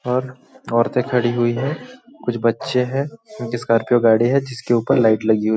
और औरतें खड़ी हुई है कुछ बच्चे हैं इनकी स्कॉर्पियो गाड़ी है जिसके ऊपर लाइट लगी हुई हैं ।